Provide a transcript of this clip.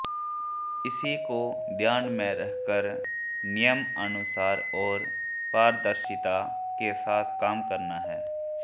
इसी को ध्यान में रखकर नियमानुसार और पारदर्शिता के साथ काम करना हैं